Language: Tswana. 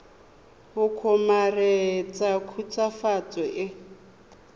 go kgomaretsa khutswafatso e e